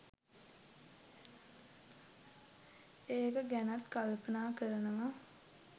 ඒක ගැනත් කල්පනා කරනවා